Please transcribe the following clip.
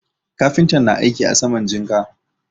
Kafintan na aiki a saman jinka.